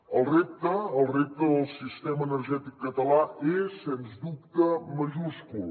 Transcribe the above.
el repte el repte del sistema energètic català és sens dubte majúscul